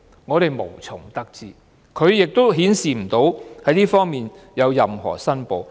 我們無從得知，亦沒有顯示她曾就這方面作任何申報。